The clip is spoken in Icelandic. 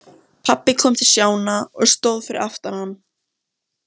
Pabbi kom til Stjána og stóð fyrir aftan hann.